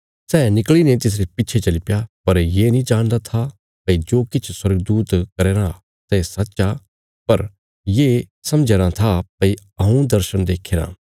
सै निकल़ीने तिसरे पिच्छे चलीप्या पर ये नीं जाणदा था भई जो किछ स्वर्गदूत करया राँ सै सच आ पर ये समझया राँ था भई हऊँ दर्शण देख्यारा